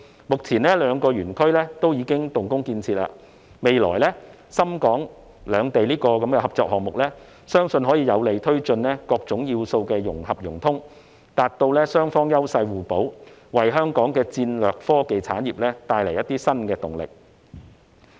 目前，這兩個園區已經動工建設，未來深港兩地的合作項目，相信可以有利推進各種要素的融合融通，達致雙方優勢互補，為香港的戰略科技產業帶來一些新動力。